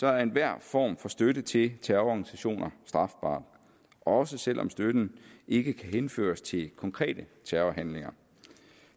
er enhver form for støtte til terrororganisationer strafbar også selv om støtten ikke kan henføres til konkrete terrorhandlinger